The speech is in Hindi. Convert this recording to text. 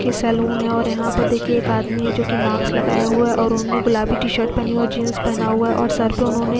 ये सलोन है और यहां पर देखिए एक आदमी है जो की मास्क लगाया हुआ है और उन्हें गुलाबी टी शर्ट पहनी और जींस पहना हुआ और सर पे उन्होंने --